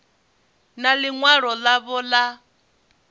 na ḽi ṅwalo ḽavho ḽa